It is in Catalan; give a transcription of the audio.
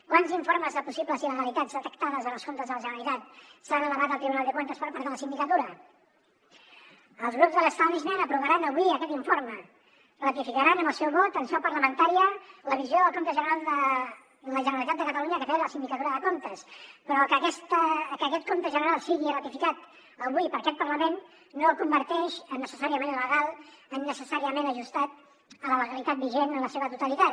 quants informes de possibles il·legalitats detectades en els comptes de la generalitat s’han elevat al tribunal de cuentas per part de la sindicatura els grups de l’seu vot en seu parlamentària la visió del compte general de la generalitat de catalunya que té la sindicatura de comptes però que aquest compte general sigui ratificat avui per aquest parlament no el converteix en necessàriament legal en necessàriament ajustat a la legalitat vigent en la seva totalitat